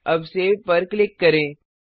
अब सेव पर क्लिक करें